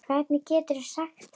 Hvernig geturðu sagt þetta?